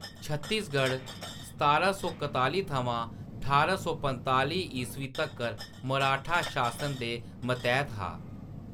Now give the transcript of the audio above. छत्तीसगढ़ सतारां सौ कत्तालीं थमां ठारां सौ पंजतालीं ईस्वी तक्कर मराठा शासन दे मतैह्‌‌‌त हा।